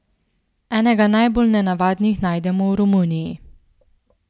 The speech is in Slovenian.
Enega najbolj nenavadnih najdemo v Romuniji.